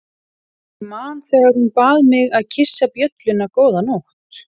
Ég man þegar hún bað mig að kyssa bjölluna góða nótt.